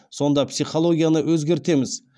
сонда психологияны өзгертеміз